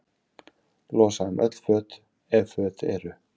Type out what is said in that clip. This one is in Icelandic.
Losa um öll föt, ef föt eru.